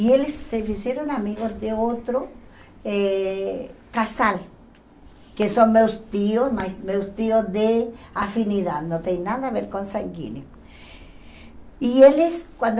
E eles se fizeram amigos de outro eh casal, que são meus tios, mas meus tios de afinidade, não tem nada a ver com sanguíneo. E eles quando